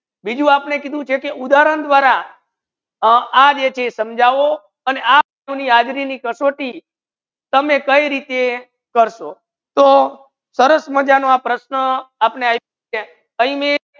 બીજુ આપને કીધુ છે કે ઉધાહરણ દ્વારા અ આ કે સમજવો આને આ સુની હાજરી ની કસોટી તમે કઈ રીત કરશો તો સરસ મજા નો આ પ્રશ્ન આપને આપ્યુ છે આહી મે